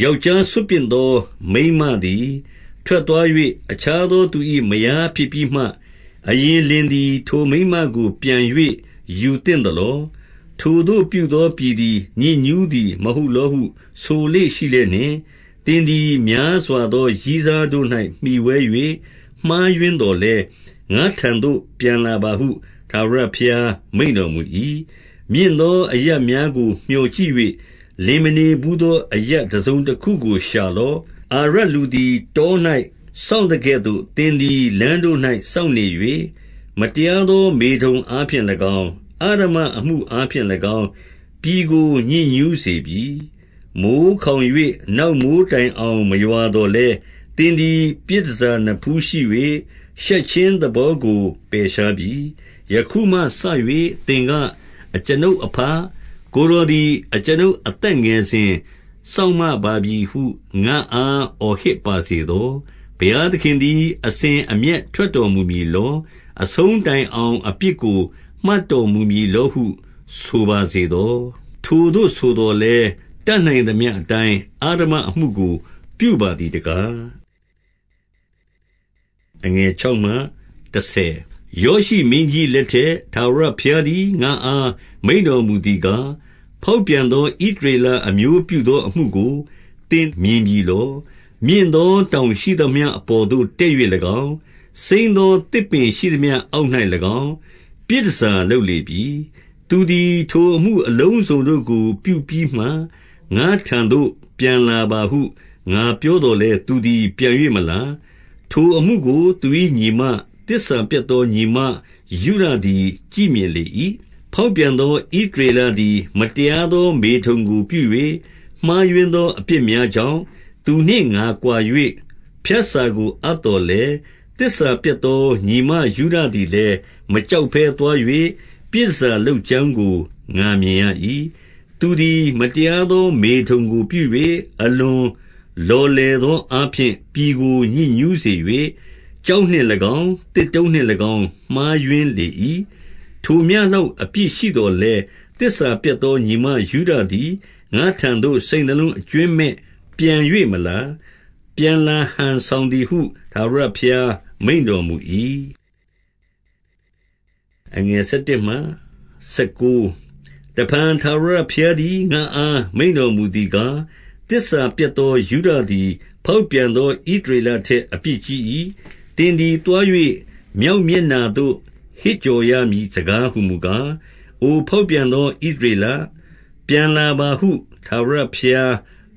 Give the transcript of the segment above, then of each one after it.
ယောက်ျား စွန့်ပစ်သော မိန်းမသည် ထွက်သွား ၍၊ အခြားသော သူ၏မယားဖြစ်ပြီးမှ၊ အရင်လင်သည် ထိုမိန်းမကို ပြန်၍ယူသင့်သလော။ ထိုသို့ပြုသော ပြည် သည် ညစ်ညူးသည်မဟုတ်လောဟု ဆိုလေ့ရှိလျက်နှင့်၊ သင်သည်များစွာသော ရည်းစားတို့၌မှီဝဲ၍ မှားယွင်းသော် လည်း၊ ငါ့ထံသို့ ပြန်လာပါဟု ထာဝရဘုရား မိန့်တော် မူ၏။ မြင့်သောအရပ်များကို မျှော်ကြည့်၍၊ လင်မနေ ဘူးသောအရပ် တစုံတခုကို ရှာလော့။ အာရပ်လူသည် တော၌စောင့်သကဲ့သို့၊ သင်သည် လမ်းတို့၌စောင့်နေ၍၊ မတရားသော မေထုန်အားဖြင့်၎င်း၊ အဓမ္မအမှုအားဖြင့် ၎င်း ပြည်ကို ညစ်ညူးစေပြီ။ မိုဃ်းခေါင်၍ နောက်မိုဃ်းတိုင်အောင် မရွာ သော်လည်း၊ သင်သည် ပြည်တန်ဆာနဖူးရှိ၍၊ ရှက်ခြင်း သဘောကိုပယ်ရှားပြီ။ ယခုမှစ၍ သင်က၊ အကျွန်ုပ်အဘ၊ ကိုယ်တော် သည် အကျွန်ုပ်အသက်ငယ်စဉ်၊ စောင့်မပါပြီဟု ငါ့အား အော်ဟစ်ပါစေသော။ ဘုရားသခင်သည် အစဉ်အမျက်ထွက်တော်မူ မည်လော။ အဆုံးတိုင်အောင် အပြစ်ကို မှတ်တော်မူမည် လောဟု ဆိုပါစေသော။ ထိုသို့ဆိုသော်လည်း၊ တတ်နိုင် သမျှအတိုင်း အဓမ္မအမှုကို ပြုပါသည်တကား။ ယောရှိမင်းကြီးလက်ထက်၊ ထာဝရဘုရားသည် ငါ့အားမိန့်တော်မူသည်ကား၊ ဖောက်ပြန်သော ဣသ ရေလအမျိုးပြုသောအမှုကို သင်မြင်ပြီလော။ မြင့်သော တောင်ရှိသမျှအပေါ်သို့တက်၍၎င်း၊ စိမ်းသောသစ်ပင် ရှိသမျှအောက်၌၎င်း ပြည်တန်ဆာလုပ်လေပြီ။ သူသည် ထိုအမှုအလုံးစုံတို့ကို ပြုပြီးမှ၊ ငါ့ထံသို့ ပြန်လာပါဟု ငါပြောသော်လည်း၊ သူသည်ပြန်၍မလာ။ ထိုအမှုကို သူ၏ညီမ၊ သစ္စာပျက်သောညီမ ယုဒသည် ကြည့်မြင်လေ၏။ ဖောက်ပြန်သော ဣသရေလသည် မတရား သော မေထုန်ကို ပြု၍၊ မှားယွင်းသော အပြစ်များကြောင့်၊ သူနှင့်ငါကွာ၍ ဖြတ်စာကို အပ်သော်လည်း၊ သစ္စာပျက် သောညီမ ယုဒသည်လည်း၊ မကြောက်ဘဲသွား၍၊ ပြည် တန်ဆာလုပ်ကြောင်းကို ငါမြင်ရ၏။ သူသည် မတရားသော မေထုန်ကိုပြု၍ အလွန် လော်လည်သောအားဖြင့် ပြည်ကို ညစ်ညူးစေ၍၊ ကျောက် နှင့်၎င်း၊ သစ်တုံးနှင့်၎င်း မှားယွင်းလေ၏။ ထိုမျှလောက်အပြစ်ရှိသော်လည်း၊ သစ္စာပျက် သော ညီမယုဒသည် ငါ့ထံသို့စိတ်နှလုံးအကြွင်းမဲ့ပြန်၍ မလာ။ ပြန်လာဟန်ဆောင်သည်ဟု ထာဝရဘုရား မိန့်တော်မူ၏။ တဖန်ထာဝရဘုရားသည် ငါ့အား မိန့်တော်မူ သည်ကား၊ သစ္စာပျက်သော ယုဒသည် ဖောက်ပြန်သော ဣသရေလထက် အပြစ်ကြီး၏။ သင်သည် သွား၍ မြောက်မျက်နှာသို့ ဟစ်ကြော် ရမည် စကားဟူမူကား၊ အိုဖောက်ပြန်သော ဣသရေလ၊ ပြန်လာပါဟု ထာဝရဘုရား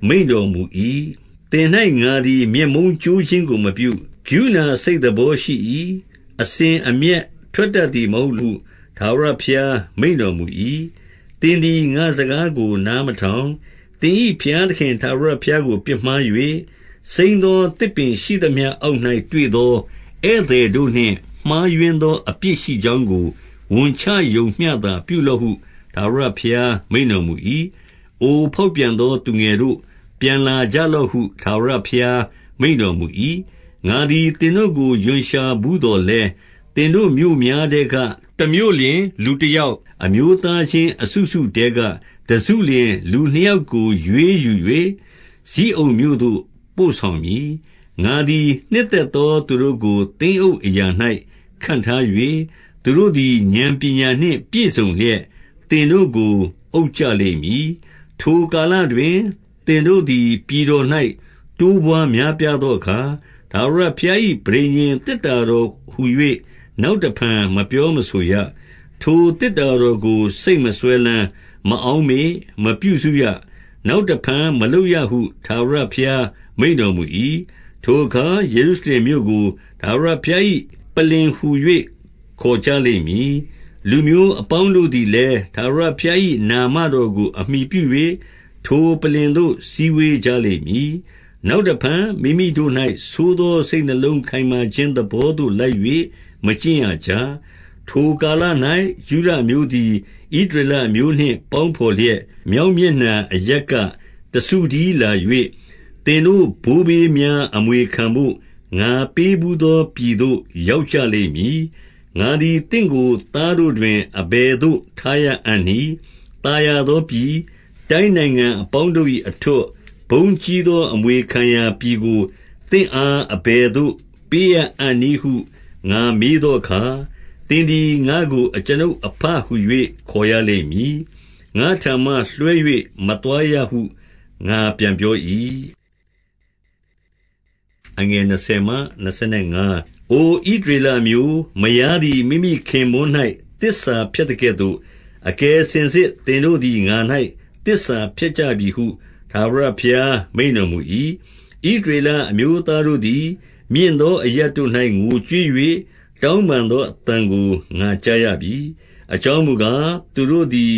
မိန့်တော်မူ၏။ သင်၌ ငါ သည် မျက်မုန်းကြိုးခြင်းကိုမပြု၊ ကရုဏာစိတ်သဘော ရှိ၏။ အစဉ်အမျက်ထွက်တတ်သည်မဟုတ်ဟု ထာဝရ ဘုရား မိန့်တော်မူ၏။ သင်သည် ငါ့စကားကို နားမထောင်။ သင်၏ ဘုရားသခင် ထာဝရဘုရားကို ပြစ်မှား၍၊ စိမ်းသော သစ်ပင်ရှိသမျှ အောက်၌တွေ့သော ဧည့်သည်တို့နှင့် မှား ယွင်းသော အပြစ်ရှိကြောင်းကို ဝန်ချရုံမျှသာ ပြုလော့ဟု ထာဝရဘုရားမိန့်တော်မူ၏။ အိုဖောက်ပြန်သော သူငယ်တို့၊ ပြန်လာကြလော့ ဟု ထာဝရဘုရား မိန့်တော်မူ၏။ ငါသည် သင်တို့ကို ရွံရှာဘူးသော်လည်း၊ သင်တို့မြို့များထဲက တမြို့လျှင် လူ တယောက်၊ အမျိုးသားချင်း အစုစုထဲက တစုလျှင် လူနှစ်ယောက်ကို ရွေးယူ၍ ဇိအုန်မြို့သို့ ပို့ဆောင်မည်။ ငါသည် နှစ်သက်သောသူတို့ကို သင်းအုပ်အရာ ၌ ခန့်ထား၍၊ သူတို့သည် ဥာဏ်ပညာနှင့် ပြည့်စုံလျက် သင်တို့ကို အုပ်ကြလိမ့်မည်။ ထိုကာလတွင် သင်တို့သည် ပြည်တော်၌ တိုးပွါး များပြားသောအခါ၊ ထာဝရဘုရား၏ ပဋိညာဉ် သေတ္တာ တော်ဟူ၍ နောက်တဖန် မပြောမဆိုရ။ ထိုသေတ္တာတော် ကို စိတ်မစွဲလမ်း၊ မအောက်မေ့၊ မပြုစုရ။ နောက်တဖန် မလုပ်ရဟု ထာဝရဘုရား မိန့်တော်မူ၏။ ထိုအခါ ယေရုရှလင်မြို့ကို ထာဝရဘုရား၏ ပလ္လင်ဟူ၍ခေါ်ကြလိမ့်မည်။ လူမျိုးအပေါင်းတို့သည် လည်း၊ ထာဝရဘုရား၏နာမတော်ကို အမှီပြု၍၊ ထိုပလ္လင် သို့ စည်းဝေးကြလိမ့်မည်။ နောက်တဖန် မိမိတို့၌ ဆိုး သောစိတ်နှလုံးခိုင်မာခြင်းသဘောသို့ လိုက်၍ မကျင့် ရကြ။ ထိုကာလ၌ ယုဒအမျိုးသည် ဣသရေလအမျိုး နှင့် ပေါင်းဘော်လျက်၊ မြောက်မျက်နှာအရပ်က တစု တည်းလာ၍၊ သင်တို့ဘိုးဘေးများ အမွေခံဘို့၊ ငါပေးဘူး သော ပြည်သို့ ရောက်ကြလိမ့်မည်။ ငါသည်သင့်ကို သားတို့တွင် အဘယ်သို့ ထားရ အံ့နည်း။ သာယာသောပြည်၊ တိုင်းနိုင်ငံအပေါင်းတို့၏ အထွဋ်၊ ဘုန်းကြီးသော အမွေခံရာ ပြည်ကိုသင့်အား အဘယ်သို့ပေးရအံ့နည်းဟု ငါမေးသောအခါ၊ သင်သည် ငါ့ကို အကျွန်ုပ်အဘဟူ၍ ခေါ်ရလိမ့်မည်။ ငါ့ထံမှလွှဲ၍ မသွားရဟု ငါပြန်ပြော၏။ အိုဣသရေလအမျိုး၊ မယားသည် မိမိခင်ပွန်း၌ သစ္စာဖျက်သကဲ့သို့၊ အကယ်စင်စစ် သင်တို့သည်ငါ၌ သစ္စာဖျက်ကြပြီဟု ထာဝရဘုရားမိန့်တော်မူ၏။ ဣသရေလ အမျိုးသားတို့သည် မြင့်သောအရပ်တို့၌ ငိုကြွေး၍ တောင်းပန်သောအသံကို ငါကြားရပြီ။ အကြောင်းမူကား၊ သူတို့သည်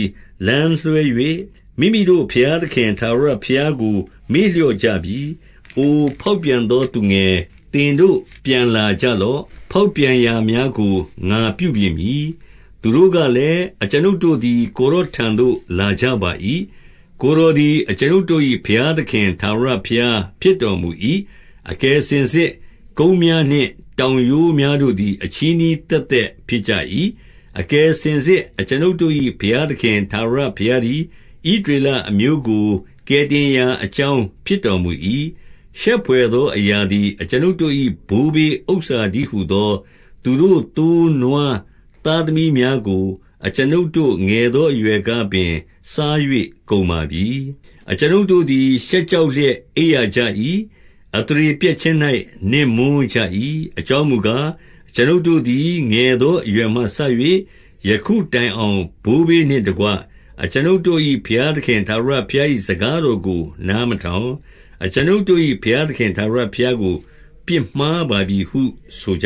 လမ်းလွှဲ၍၊ မိမိတို့ဘုရား သခင် ထာဝရဘုရားကို မေ့လျော့ကြပြီ။ အိုဖောက်ပြန်သော သူငယ်၊ သင်တို့ပြန်လာ ကြလော့။ ဖောက်ပြန်ရာများကို ငါပြုပြင်မည်။ သူတို့ ကလည်း၊ အကျွန်ုပ်တို့သည် ကိုယ်တော်ထံသို့ လာကြ ပါ၏။ ကိုယ်တော်သည် အကျွန်ုပ်တို့၏ ဘုရားသခင် ထာဝရဘုရားဖြစ်တော်မူ၏။ အကယ်စင်စစ် ကုန်းများနှင့် တောင်ရိုးများတို့သည် အချည်းနှီးသက်သက် ဖြစ်ကြ၏။ အကယ်စင်စစ် အကျွန်ုပ်တို့၏ ဘုရားသခင် ထာဝရဘုရားသည် ဣသရေလအမျိုးကို ကယ်တင်ရာ အကြောင်း ဖြစ်တော်မူ၏။ ရှက်ဘွယ်သော အရာသည် အကျွန်ုပ်တို့၏ ဘိုးဘေးဥစ္စာတည်းဟူသော သူတို့ သိုး နွား၊ သားသမီး များကို အကျွန်ုပ်တို့ ငယ်သောအရွယ်ကပင် စား၍ ကုန်ပါပြီ။ အကျွန်ုပ်တို့သည် ရှက်ကြောက်လျက် အိပ်ရ ကြ၏။ အသရေပျက်ခြင်း၌ နစ်မွန်းကြ၏။ အကြောင်း မူကား၊ အကျွန်ုပ်တို့သည် ငယ်သော အရွယ်မှစ၍ ယခု တိုင်အောင် ဘိုးဘေးနှင့်တကွ အကျွန်ုပ်တို့၏ ဘုရား သခင် ထာဝရဘုရား၏ စကားတော်ကို နားမထောင် အကျွန်ုပ်တို့၏ ဘုရားသခင် ထာဝရဘုရားကို ပြစ်မှားပါ ပြီဟု ဆိုကြ